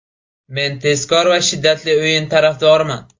Men tezkor va shiddatli o‘yin tarafdoriman.